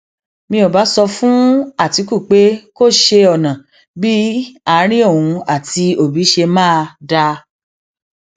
mi ò bá sọ fún àtìkù pé kó ṣe ọnà bíi àárín òun àti òbí ṣe máa dáa